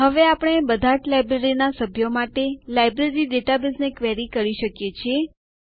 હવે આપણે બધાજ લાઈબ્રેરીના સભ્યો માટે લાઈબ્રેરી ડેટાબેઝને ક્વેરી કરી શકીએ છીએ